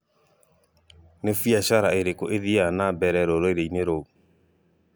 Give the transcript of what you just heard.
Nĩ biacara irĩkũ ithiaga na mbere rũrĩrĩ-inĩ rũu?